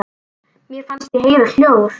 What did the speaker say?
Mér fannst ég heyra hljóð.